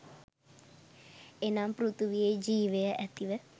එනම් පෘථිවියේ ජීවය ඇතිව